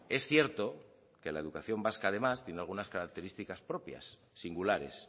es cierto que la educación vasca además tiene unas características propias singulares